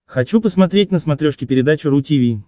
хочу посмотреть на смотрешке передачу ру ти ви